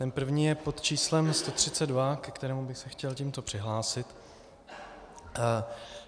Ten první je pod číslem 132, ke kterému bych se chtěl tímto přihlásit.